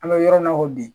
An bɛ yɔrɔ min na ko bi